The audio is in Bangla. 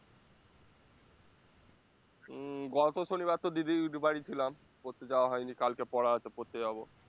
উম গত শনিবার তো দিদির বাড়ি ছিলাম পড়তে যাওয়া হয়নি কালকে পড়া আছে পড়তে যাবো